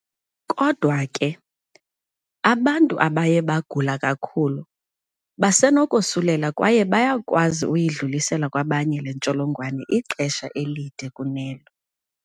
Kodwa ke, abantu abaye bagula kakhulu basenokosulela kwaye bayakwazi uyidlulisela kwabanye le ntsholongwane ixesha elide kunelo.